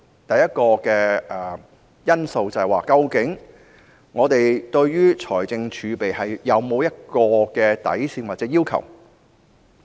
第一項因素是，我們對於財政儲備有否任何底線或要求？